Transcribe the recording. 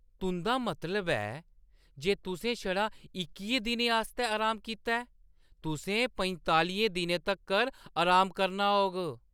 तुंʼदा मतलब ऐ जे तुसें छड़ा इक्कियें दिनें आस्तै आराम कीता ऐ? तुसें पंजतालियें दिनें तगर अराम करना होग।